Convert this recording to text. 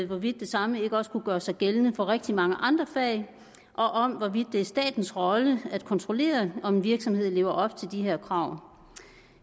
hvorvidt det samme ikke også kunne gøre sig gældende for rigtig mange andre fag og om hvorvidt det er statens rolle at kontrollere om en virksomhed lever op til de her krav